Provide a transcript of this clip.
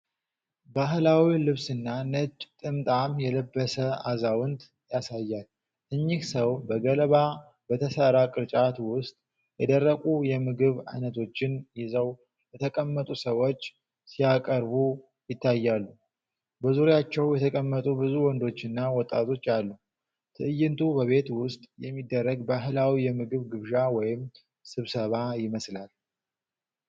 ባህላዊ ልብስና ነጭ ጥምጣም የለበሰ አዛውንት ያሳያል። እኚህ ሰው በገለባ በተሠራ ቅርጫት ውስጥ የደረቁ የምግብ አይነቶችን ይዘው ለተቀመጡ ሰዎች ሲያቀርቡ ይታያል። በዙሪያቸው የተቀመጡ ብዙ ወንዶችና ወጣቶች አሉ። ትዕይንቱ በቤት ውጭ የሚደረግ ባህላዊ የምግብ ግብዣ ወይም ስብሰባ ይመስላል።